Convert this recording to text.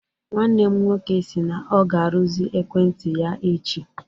Nwanne m nwoke si na ọ ga-arụzi ekwentị ya echi.